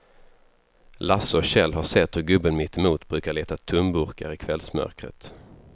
Lasse och Kjell har sett hur gubben mittemot brukar leta tomburkar i kvällsmörkret.